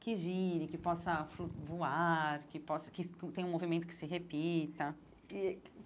Que gire, que possa flu voar, que possa que tenha um movimento que se repita e.